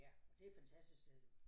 Ja det fantastisk sted